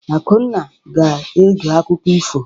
Akunna ga-ege akụkọ ifo.